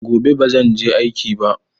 Gobe bazan je aiki ba.